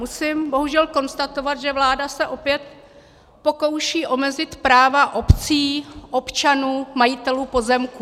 Musím bohužel konstatovat, že vláda se opět pokouší omezit práva obcí, občanů, majitelů pozemků.